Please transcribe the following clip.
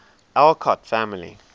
alcott family